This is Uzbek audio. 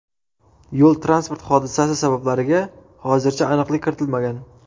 Yo‘l-transport hodisasi sabablariga hozircha aniqlik kiritilmagan.